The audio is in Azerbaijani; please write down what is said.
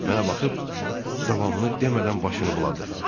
Mənə baxıb davamını demədən başını buladı.